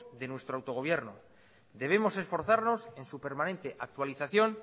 de nuestro autogobierno debemos esforzarnos en su permanente actualización